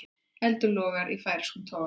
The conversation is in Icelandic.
Eldur logar í færeyskum togara